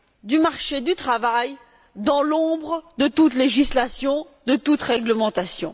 du marché du travail dans l'ombre de toute législation, de toute réglementation.